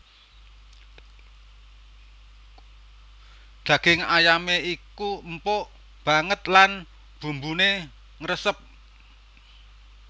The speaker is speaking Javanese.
Daging ayamé iku empuk banget lan bumbuné ngresep